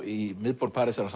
í miðborg Parísar á